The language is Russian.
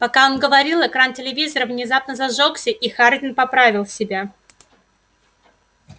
пока он говорил экран телевизора внезапно зажёгся и хардин поправил себя